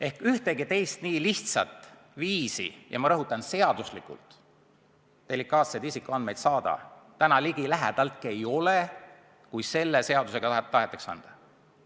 Ehk siis ühtegi teist nii lihtsat viisi – ja ma rõhutan: seaduslikult – delikaatseid isikuandmeid saada täna ligilähedaltki ei ole, kui selle seadusega tahetakse anda.